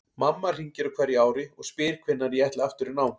Mamma hringir á hverju ári og spyr hvenær ég ætli aftur í nám.